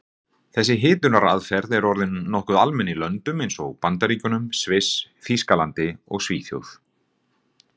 Þessi hitunaraðferð er orðin nokkuð almenn í löndum eins og Bandaríkjunum, Sviss, Þýskalandi og Svíþjóð.